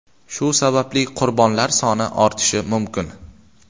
Shu sababli qurbonlar soni ortishi mumkin.